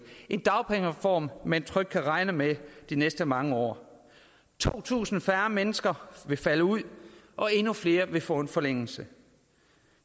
en dagpengereform man trygt kan regne med de næste mange år to tusind færre mennesker vil falde ud og endnu flere vil få en forlængelse